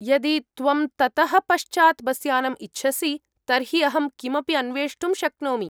यदि त्वं ततः पश्चात् बस्यानम् इच्छसि, तर्हि अहं किमपि अन्वेष्टुं शक्नोमि।